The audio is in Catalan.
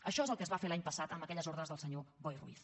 això és el que es va fer l’any passat amb aquelles ordres del senyor boi ruiz